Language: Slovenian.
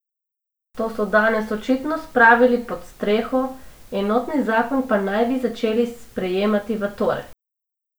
To so danes očitno spravili pod streho, enotni zakon pa naj bi začeli sprejemati v torek.